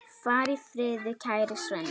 Far í friði, kæri Svenni.